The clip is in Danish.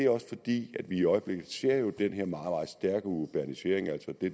er også fordi vi i øjeblikket ser den her meget meget stærke urbanisering altså det